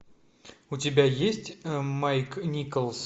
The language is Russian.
у тебя есть майк николс